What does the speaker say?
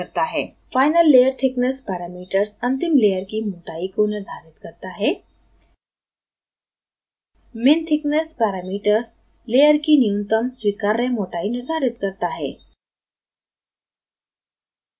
finallayerthickness parameters अंतिम layer की मोटाई को निर्धारित करता है minthickness पैरामीटर्स layer की न्यूनतम स्वीकार्य मोटाई निर्धारित करता है